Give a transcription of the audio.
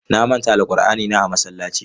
Na manta alqur'anina a masallaci.